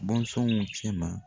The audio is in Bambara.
Bɔnsɔnw cɛ ma